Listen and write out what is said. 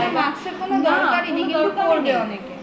সেখানে mask র কোনো দরকার ই নেই তবুও পরবে অনেকে